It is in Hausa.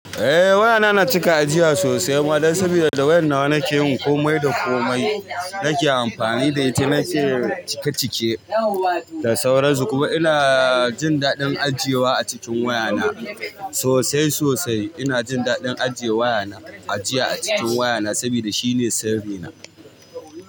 Eh wayana na cika ajiya sosai ma dan saboda da wayan nawa nake yin komai da komai. Nake amfani da ita nake cike cike da sauran su kuma ina jin daɗin ajiyewa a cikin wayana sosai sosai. Ina jin daɗin ajiye wayana, ajiya a cikin wayana saboda shine sirrina.